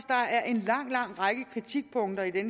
der er en lang lang række kritikpunkter i